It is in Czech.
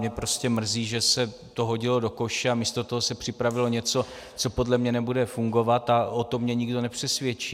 Mě prostě mrzí, že se to hodilo do koše a místo toho se připravilo něco, co podle mě nebude fungovat, a o tom mě nikdo nepřesvědčí.